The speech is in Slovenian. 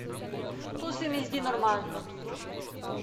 To se mi zdi normalno.